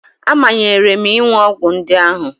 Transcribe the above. A manyere m ịṅụ ọgwụ ndị ahụ